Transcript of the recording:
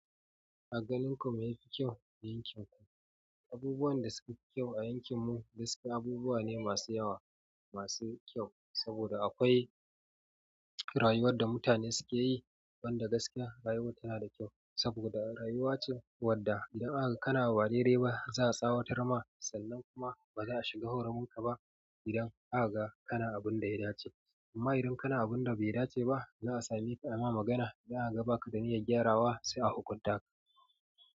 A ganin ku me ya fi kyau a yankin ku? Abubuwan da suka fi kyau a yankin mu gaskiya abubuwa ne masu yawa masu kyau saboda akwai rayuwar da mutane suke yi wanda gaskiya rayuwar tana da kyau, saboda rayuwa ce wadda da aka ga kana ba dai dai ba za a tsawatar ma sannan kuma baza a shiga hurumin ka ba idan aka ga kana abun da ya dace amma idan kana abun da bai dace ba za a same ka a ma magana za a ga baka da niyyar gyarawa sai a hukunta ka.